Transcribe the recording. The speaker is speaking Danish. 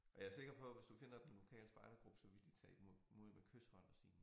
Og jeg sikker på hvis du finder den lokale spejdergruppe så vil de tage imod mod med kyshånd og sige